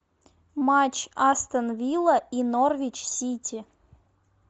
матч астон вилла и норвич сити